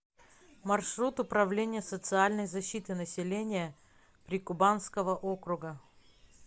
маршрут управление социальной защиты населения прикубанского округа